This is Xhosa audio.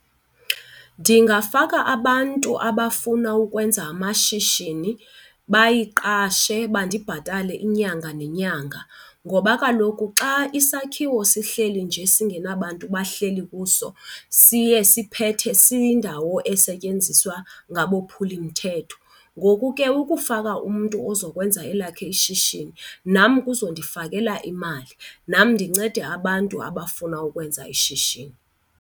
Ndingafaka abantu abafuna ukwenza amashishini bayiqashe bandibhatale inyanga nenyanga ngoba kaloku xa isakhiwo sihleli nje singenabantu abahleli kuso siye siphethe siyindawo esetyenziswa ngabophulimthetho. Ngoku ke ukufaka umntu ozokwenza elakhe ishishini nam kuzondifakela imali, nam ndincede abantu abafuna ukwenza ishishini.